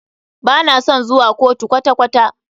Ba na son zuwa kotu kwata kwata.